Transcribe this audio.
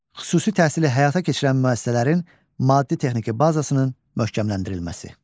Xüsusi təhsili həyata keçirən müəssisələrin maddi-texniki bazasının möhkəmləndirilməsi.